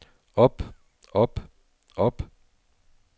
op op op